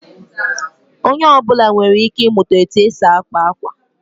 Onye ọ bụla nwere ike ịmụta otú e si akpa akwa